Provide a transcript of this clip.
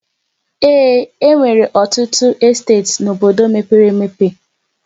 Ee, e nwere ọtụtụ esteeti n'obodo mepere emepe.